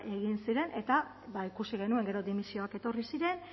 egin ziren eta ikusi genuen gero dimisioak etorri ziren